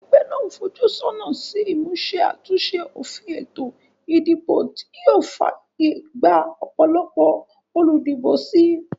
Egbé nàá n fojú sónà sí ìmúse àtúnse òfin ètò ìdìbò tí yío fàyè gba òpòlopò olùdìbò si